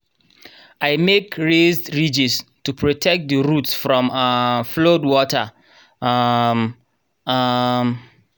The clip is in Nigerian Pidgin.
i make raised ridges to protect the root from um flood water um. um